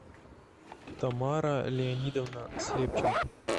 тамара леонидовна слепченко